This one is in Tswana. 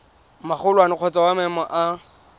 magolwane kgotsa wa maemo a